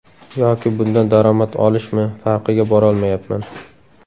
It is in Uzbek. Yoki bundan daromad olishmi, farqiga borolmayapman.